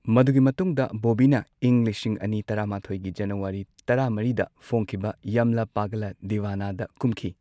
ꯃꯗꯨꯒꯤ ꯃꯇꯨꯡꯗ ꯕꯣꯕꯤꯅ ꯏꯪ ꯂꯤꯁꯤꯡ ꯑꯅꯤ ꯇꯔꯥ ꯃꯥꯊꯣꯏꯒꯤ ꯖꯅꯋꯥꯔꯤ ꯇꯔꯥ ꯃꯔꯤꯗ ꯐꯣꯡꯈꯤꯕ ꯌꯥꯝꯂ ꯄꯒꯂ ꯗꯤꯋꯥꯅꯥ ꯗ ꯀꯨꯝꯈꯤ꯫